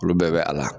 Olu bɛɛ bɛ a la